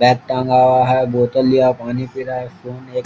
bag टाँगा हुआ है बोतल लिया हुआ पानी पी रहा है फोन एक --